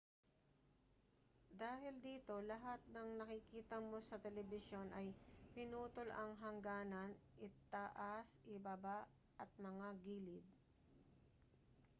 dahil dito lahat ng nakikita mo sa telebisyon ay pinutol ang hangganan itaas ibaba at mga gilid